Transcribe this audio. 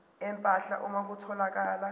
empahla uma kutholakala